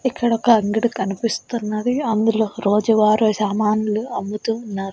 ఇక్కడొక అంగడి కనిపిస్తున్నది అందులో రోజు వారు సామాన్లు అమ్ముతూ ఉన్నారు.